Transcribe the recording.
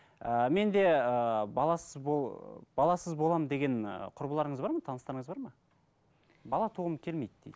ыыы мен де ыыы баласы баласыз боламын деген ы құрбыларыңыз бар ма таныстарыңыз бар ма бала туғым келмейді дейді